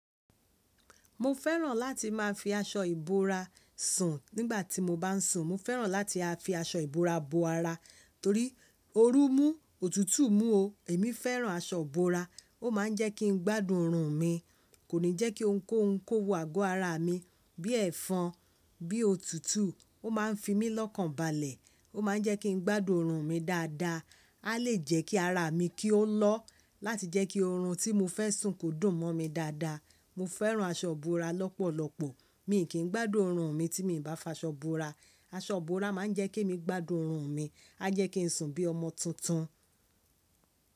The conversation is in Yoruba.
Mo fẹ́ràn láti máa fi aṣọ ìbora sùn nígbà tí mo bá ń sùn. Mo fẹ́ràn láti a fi aṣọ ìbora bo ara torí oru mú, òtútù mú o. Èmi fẹ́ràn aṣọ bora, ó ma ń jẹ́ kí n gbádùn orun mi. Kò ní jẹ́ kí óun kó ouń kó wo àgọ́ ara mi. Bí ẹ́fọn, bí òtútù, ó ma ń fi mi lọ́kànbalẹ̀. Ó ma ń jẹ́ kí n gbádùn orun mi dáadáa. A lè jẹ́ kí ara mi kí ó lọ́ láti jẹ́ kí oorun tí mo fẹ́ sùn kò dùn mọ́ mi dáadáa. Mo fẹ́ràn aṣọ ìbora lọ́pọ̀lọpọ̀. Mi kì í gbádùn orun mi tí mi bá fa ṣọ bora. Aṣọ bora ma ń jẹ́ kí mi gbádùn orun mi. A jẹ́ kí n sùn bí ọmọ tuntun.